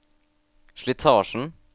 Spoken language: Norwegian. slitasjen